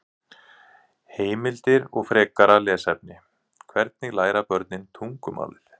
Heimildir og frekara lesefni: Hvernig læra börn tungumálið?